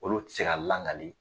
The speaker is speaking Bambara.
Olu tɛ ka langali